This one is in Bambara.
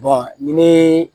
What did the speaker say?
ni